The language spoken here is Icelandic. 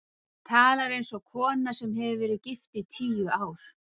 Hún talar eins og kona sem hefur verið gift í tíu ár.